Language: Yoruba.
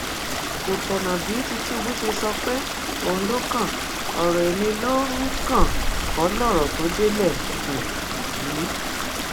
kò tọnà bí tìtúbù ṣe sọ pé òun ló kan ọrọ ẹmí ló um kàn kọ lọrọ tó délé um yìí